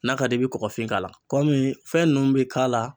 N'a ka di i ye i bɛ kɔfin k'a la kɔmi fɛn ninnu bɛ k'a la.